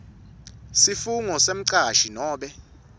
sifungo semcashi nobe